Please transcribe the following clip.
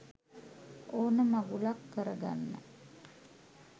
ඕන මගුලක් කරගන්න